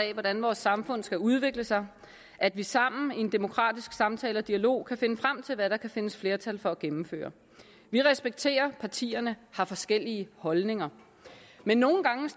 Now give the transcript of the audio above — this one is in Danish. af hvordan vores samfund skal udvikle sig at vi sammen i en demokratisk samtale og dialog kan finde frem til hvad der kan findes flertal for at gennemføre vi respekterer at partierne har forskellige holdninger men nogle gange